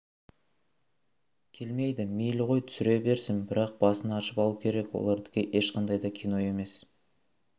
келмейді мейлі ғой түсіре берсін бірақ басын ашып алу керек олардікі ешқандай да кино емес